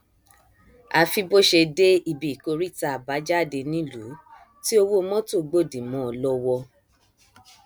àfi bó ṣe dé ibi ìkóríta àbájádenílùú tí owó mọtò gbòdì mọ ọn lọwọ